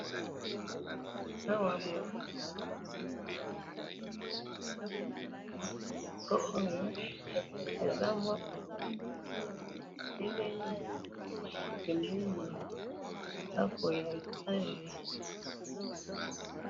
Awa bolakisi biso foto oyo eza mwa mutuka etelemi pembeni ya ndaku ya etage.